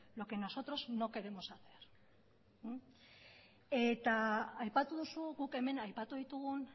lo que nosotros no queremos hacer eta aipatu duzu guk hemen aipatu ditugun